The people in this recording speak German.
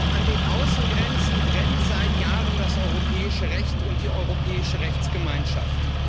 An den Außengrenzen brennt seit Jahren das europäische Recht und die europäische Rechtsgemeinschaft.